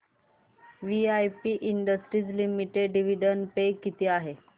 VIP industries limited dividend pay किती आहे